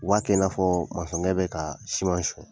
U b'a kɛ in'a fɔ mansɔnkɛ bɛ ka siman sɔnya!